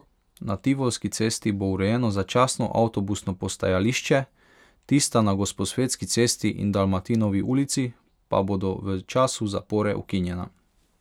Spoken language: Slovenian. Na Tivolski cesti bo urejeno začasno avtobusno postajališče, tista na Gosposvetski cesti in Dalmatinovi ulici pa bodo v času zapore ukinjena.